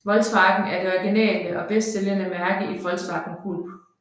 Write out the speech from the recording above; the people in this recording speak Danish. Volkswagen er det originale og bedst sælgende mærke i Volkswagen Group